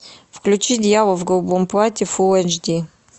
включи дьявол в голубом платье фул эйч ди